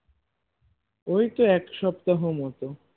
ওই তো এক সপ্তাহ মতন